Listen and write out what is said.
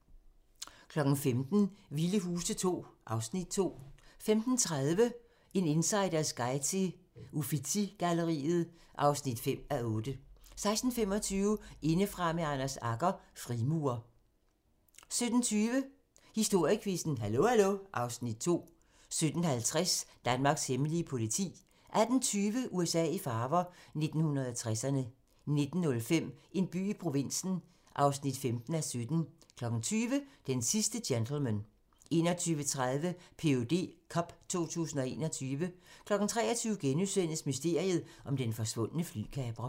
15:00: Vilde Huse II (Afs. 2) 15:30: En insiders guide til Uffizi-galleriet (5:8) 16:25: Indefra med Anders Agger - Frimurer 17:20: Historiequizzen: Hallo hallo (Afs. 2) 17:50: Danmarks hemmelige politi 18:20: USA i farver - 1960'erne 19:05: En by i provinsen (15:17) 20:00: Den sidste gentleman 21:30: PhD cup 2021 23:00: Mysteriet om den forsvundne flykaprer *